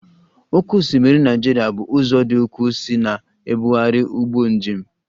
Oké osimiri Naịjirịa bụ ụzọ dị ukwuu isi na-ebugharị ụgbọ njem